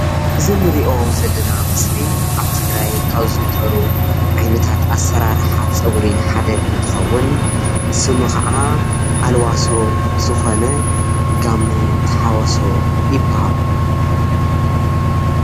እዚ ንሪኦ ዘለና ምስሊ ኣብ ትግራይ ካብ ዝዝውተሩ ዓይነታት ኣሰራርሕ ፅጉሪ ሓደ እንትከዉን ስሙ ከዓ ኣልባሶ ዝኮነ ጋመ ተሓወሶ ይበሃል።